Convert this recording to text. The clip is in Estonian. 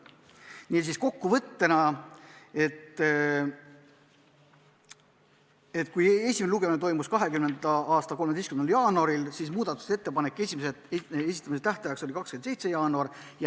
Niisiis, esimene lugemine toimus 20. aasta 13. jaanuaril ja muudatusettepanekute esitamise tähtaeg oli 27. jaanuar.